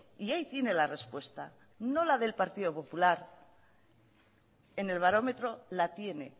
y ahí tiene la respuesta no la del partido popular en el barómetro la tiene